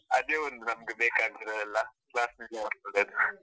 ಅದೇ ಒಂದು ನಮ್ಗೆ ಬೇಕಾಗಿರೋದು ಅಲ್ಲ .